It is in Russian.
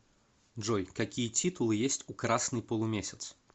джой какие титулы есть у красный полумесяц